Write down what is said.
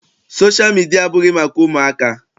Sosha midia abụghị maka ụmụaka.